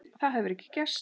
Það hefur ekki gerst.